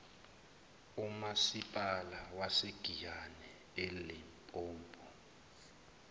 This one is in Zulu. umasipala wasegiyani elimpopo